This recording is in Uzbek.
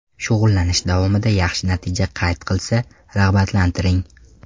Shug‘ullanish davomida yaxshi natija qayd qilsa, rag‘batlantiring.